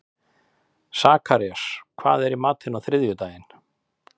Sakarías, hvað er í matinn á þriðjudaginn?